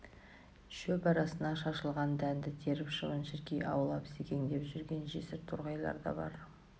шөп арасына шашылған дәнді теріп шыбын-шіркей аулап секеңдеп жүрген жесір торғайлар да бар